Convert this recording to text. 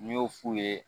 N y'o f'u ye